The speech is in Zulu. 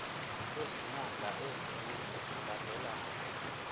kwezinyanga ezine zilandelana